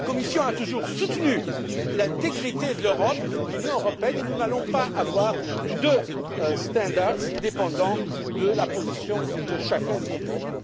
La Commission a toujours soutenu l'intégrité de l'Union européenne et nous n'allons pas avoir deux standards en fonction de la position de chacun de nos pays.